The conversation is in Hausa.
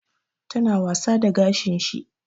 Ta na wasa da gashin shi